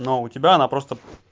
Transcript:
но у тебя она просто